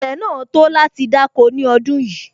Ilẹ̀ náà tó láti dáko ní ọdún yìí